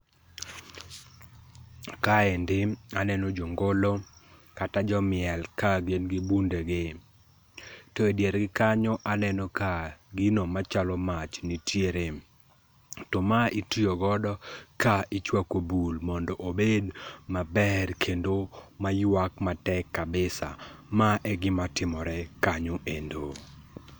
Kaendi aneno jo ngolo kata jomiel ka gin gi bundegi. To edier gi kanyo aneno ka gino machalo mach nitiere. To ma itiyo godo kichwako bul mondo obed maber kendo maywag kendo mayuak matek kabisa. Ma egima timore kanyo endo.